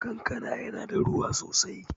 Kankana ya na da ruwa sosai